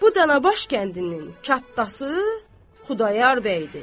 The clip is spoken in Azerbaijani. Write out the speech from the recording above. Bu Dana Baş kəndinin kətdası Xudayar bəydir.